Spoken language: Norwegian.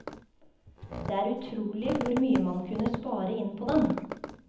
Det er utrolig hvor mye man kunne spare inn på den.